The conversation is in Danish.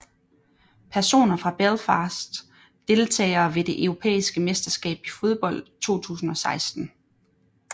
Personer fra Belfast Deltagere ved det europæiske mesterskab i fodbold 2016